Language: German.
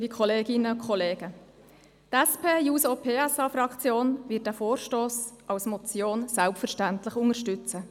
Die SP-JUSO-PSA-Fraktion wird diesen Vorstoss als Motion selbstverständlich unterstützen.